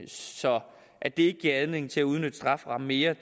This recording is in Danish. så at det ikke giver anledning til at udnytte strafferammen mere